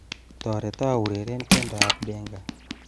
Tereto ureren tiendoab benga